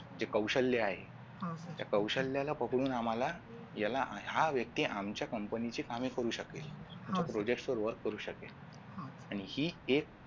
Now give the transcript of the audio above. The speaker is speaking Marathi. जे कौशल्य आहे त्या कौशल्याला बघून आम्हाला याला हा व्यक्ती आमच्या company ची कामे करू शकेल म्हणजे project work करू शकेल आणि ही एक